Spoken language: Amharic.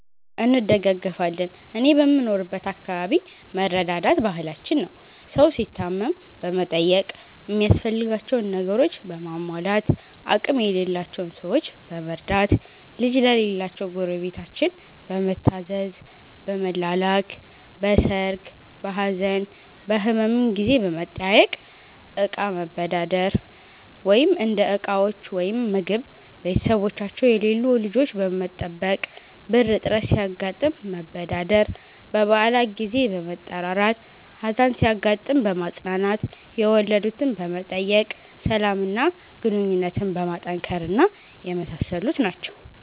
አዎ እንደጋገፋለን እኔ በምኖርበት አከባቢ መረዳዳት ባህላችን ነው። ሠው ሲታመም በመጠየቅ ሚያስፈልጋቸውን ነገሮችን በማሟላት፣ አቅም የሌላቸውን ሠዎች በመርዳት፣ ልጅ ለሌላቸው ጎረቤታችን በመታዘዝ፣ በመላላክ፣ በሠርግ፣ በሀዘን፣ በህመም ጊዜ በመጠያየቅ፣ እቃ መበዳደር (እንደ ዕቃዎች ወይም ምግብ)፣ቤተሠቦቻቸው የሌሉ ልጆች በመጠበቅ፣ ብር እጥረት ሲያጋጥም መበዳደር፣ በበአላት ጊዜ በመጠራራት፣ ሀዘን ሲያጋጥም በማፅናናት፣ የወለድትን በመጠየቅ፣ ሠላም እና ግንኙነትን በማጠናከር እና የመሣሠሉት ናቸው።